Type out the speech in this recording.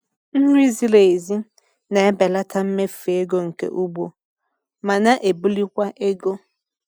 Nri ziri ezi na-ebelata mmefu ego nke ugbo ma na-ebulikwa ego.